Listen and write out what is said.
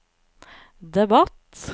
debatt